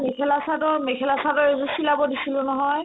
মই মেখেলা-চাদৰ মেখেলা-চাদৰ এজোৰ চিলাব দিছিলো নহয়